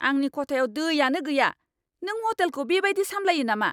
आंनि खथायाव दैयानो गैया! नों हटेलखौ बेबादि सामलायो नामा?